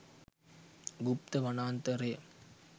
ගුප්ත වනාන්තරය